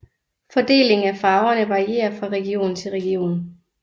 Fordelingen af farverne varierer fra region til region